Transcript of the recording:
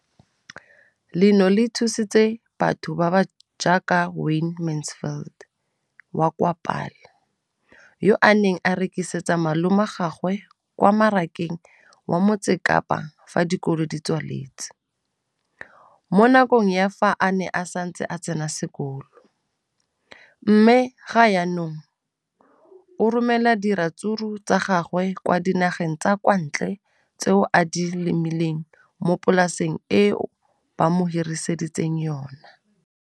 Leno le thusitse batho ba ba jaaka Wayne Mansfield, 33, wa kwa Paarl, yo a neng a rekisetsa malomagwe kwa Marakeng wa Motsekapa fa dikolo di tswaletse, mo nakong ya fa a ne a santse a tsena sekolo, mme ga jaanong o romela diratsuru tsa gagwe kwa dinageng tsa kwa ntle tseo a di lemileng mo polaseng eo ba mo hiriseditseng yona.